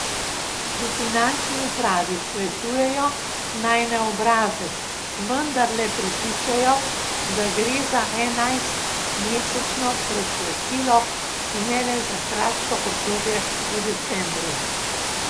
V finančni upravi svetujejo, naj na obrazec vendarle pripišejo, da gre za enajstmesečno predplačilo in ne le za kratko obdobje v decembru.